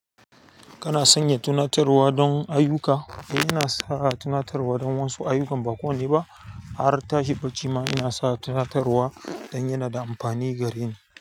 Kana sanya tunatarwa don ayyuka? Eh, ina sa tunatarwa don wasu ayukan ba kowanne ba. Har tashi bacima ina sa tunatarwa don yana da amfani gare ni.